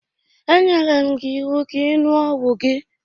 E nyere m gị iwu ka ị iṅuo ọgwụ gị!